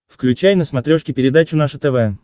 включай на смотрешке передачу наше тв